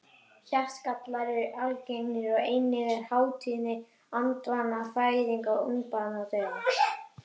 Hjartagallar eru algengir og einnig er há tíðni andvana fæðinga og ungbarnadauða.